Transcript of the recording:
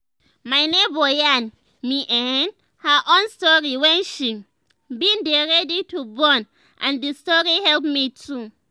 my neighbor yarn me[um]her own story wen she bin dey ready to born n d story help me too